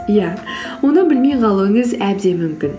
иә оны білмей қалуыңыз әбден мүмкін